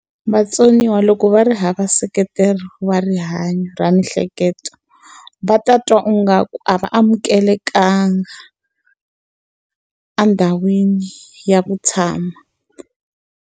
Vatsoniwa loko va ri hava nseketelo wa rihanyo ra miehleketo, va ta twa ungaku a va amukelekangi endhawini ya ku tshama.